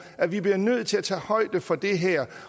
at vi bliver nødt til at tage højde for det her